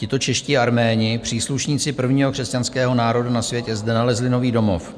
Tito čeští Arméni, příslušníci prvního křesťanského národa na světě, zde nalezli nový domov.